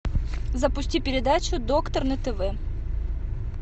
запусти передачу доктор на тв